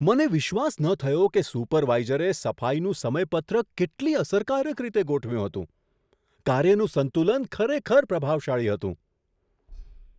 મને વિશ્વાસ ન થયો કે સુપરવાઇઝરે સફાઈનું સમયપત્રક કેટલી અસરકારક રીતે ગોઠવ્યું હતું! કાર્યનું સંતુલન ખરેખર પ્રભાવશાળી હતું.